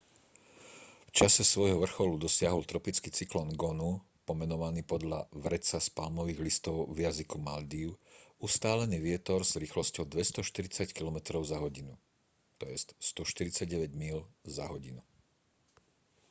v čase svojho vrcholu dosiahol tropický cyklón gonu pomenovaný podľa vreca z palmových listov v jazyku maldív ustálený vietor s rýchlosťou 240 kilometrov za hodinu 149 míľ za hodinu